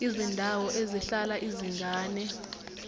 izindawo ezihlala izingane